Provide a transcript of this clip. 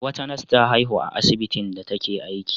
Wata nas ta haihu a asbitin da take aiki.